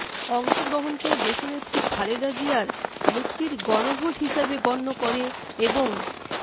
অংশগ্রহণকে দেশনেত্রী খালেদা জিয়ার মুক্তির গণভোট হিসেবে গণ্য করে এবং